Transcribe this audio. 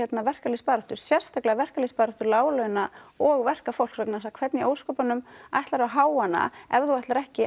verkalýðsbaráttu sérstaklega verkalýðsbaráttu láglauna og verkafólks vegna þess að hvernig í ósköpunum ætlarðu að heyja hana ef þú ætlar ekki